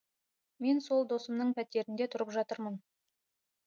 мен сол досымның пәтерінде тұрып жатырмын